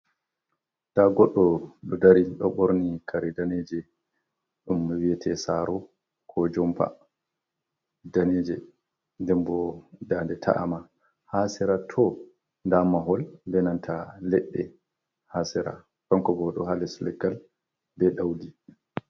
Nda goɗɗo ɗo dari ɗo borni kare daneje ɗum be wiete saro ko jompa daneje, ndnbo ndade ta’ama, ha sera tow nda mahol be nanta leɗɗe, ha sera kannko bo oɗo ha les leggal be daudi.